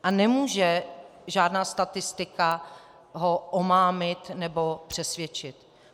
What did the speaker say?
A nemůže žádná statistika ho omámit nebo přesvědčit.